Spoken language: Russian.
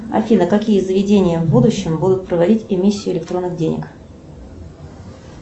афина какие заведения в будущем будут проводить эмиссию электронных денег